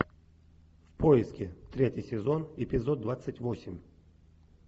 в поиске третий сезон эпизод двадцать восемь